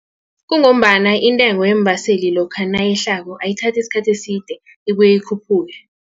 Kungombana intengo yeembaseli lokha nayehlako ayithathi isikhathi eside ibuye ikhuphuke.